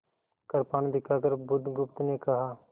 कृपाण दिखाकर बुधगुप्त ने कहा